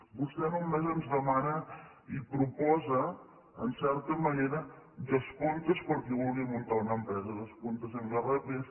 vostè només ens demana i proposa en certa manera descomptes per a qui vulgui muntar una empresa descomptes en irpf